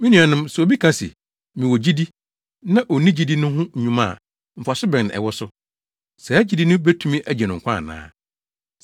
Me nuanom, sɛ obi ka se, “Mewɔ gyidi” na onni gyidi no ho dwuma a, mfaso bɛn na ɛwɔ so? Saa gyidi no betumi agye no nkwa ana?